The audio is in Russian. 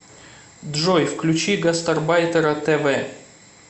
джой включи гастарбайтера тэ вэ